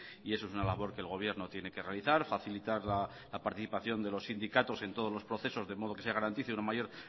y eso es una labor que el gobierno tiene que realizar facilitar la participación de los sindicatos en todos los procesos de modo que se garantice una mayor